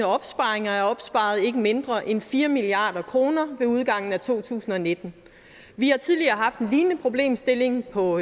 opsparinger er opsparet ikke mindre end fire milliard kroner ved udgangen af to tusind og nitten vi har tidligere haft en lignende problemstilling på